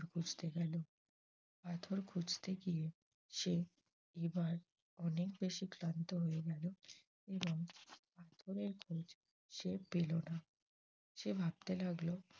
খুঁজতে গেল। পাথর খুঁজতে গিয়ে সে এবার অনেক বেশি ক্লান্ত হয়ে গেল। এবং পাথরের খোঁজ সে পেল না সে ভাবতে লাগল